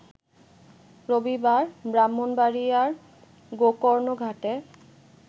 রবিবার, ব্রাহ্মণবাড়ীয়ার গোকর্ণঘাটে